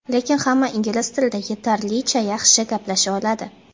Lekin hamma ingliz tilida yetarlicha yaxshi gaplasha oladi.